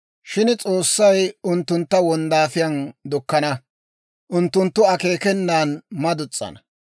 Shin S'oossay unttuntta bare wonddaafiyaan dukkana; unttunttu akeekenan madus's'ana.